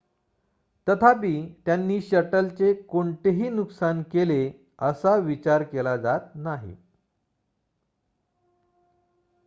तथापि त्यांनी शटलचे कोणतेही नुकसान केले असा विचार केला जात नाही